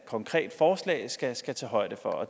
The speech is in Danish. konkret forslag skal tage højde for